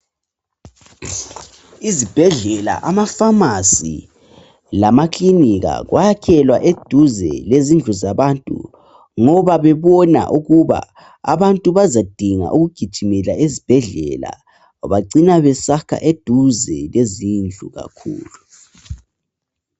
Izibhedlela, amafamasi, lamaklinika kwakhelwa eduze lezindlu zabantu ngoba bebona ukuba abantu bazadinga ukugijimela ezibhedlela. Bacina besakha eduze lezindlu kakhulu.